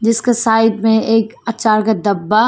जिसका साइड में एक अचार का डब्बा--